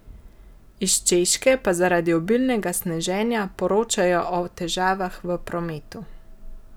Iz Češke pa zaradi obilnega sneženja poročajo o težavah v prometu.